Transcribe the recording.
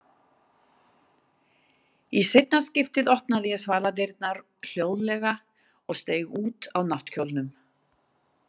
Í seinna skiptið opnaði ég svaladyrnar hljóðlega og steig út á náttkjólnum.